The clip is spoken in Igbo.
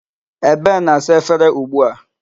Ebe na-asa efere ugbu a.